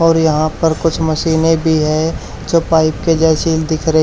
और यहां पर कुछ मशीनें भी है जो पाइप के जैसी दिख रहे--